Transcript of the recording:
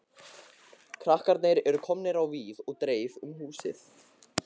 Krakkarnir eru komnir á víð og dreif um húsið.